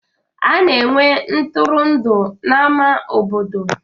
A na-enwe ntụtụndụ n'ama obodo.